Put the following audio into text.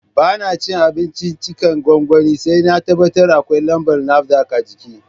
Ba na cin abinciccikan gwangwani sai na tabbatar akwai lambar NAFDAC a jiki